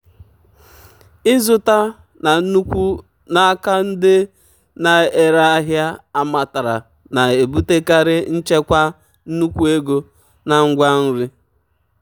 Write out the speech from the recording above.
ịzụta na nnukwu n'aka ndị na-ere ahịa amatara na-ebutekarị nchekwa nnukwu ego na ngwa nri.